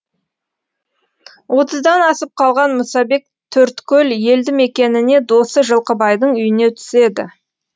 отыздан асып қалған мұсабек төрткөл елдімекеніне досы жылқыбайдың үйіне түседі